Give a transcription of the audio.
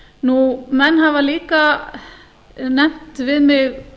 utanríkisráðanda menn hafa líka nefnt við mig